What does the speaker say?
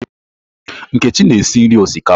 Nkechi na-esi nri osikapa.